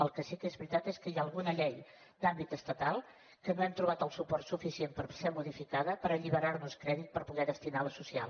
el que sí que és veritat és que hi ha alguna llei d’àmbit estatal que no hem trobat el suport suficient per ser modificada per alliberar nos crèdit per poder destinar a allò social